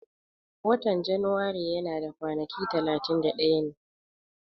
Watan Janairu yana da kwanaki talatin da daya ne